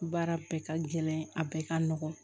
Baara bɛɛ ka gɛlɛn a bɛɛ ka nɔgɔn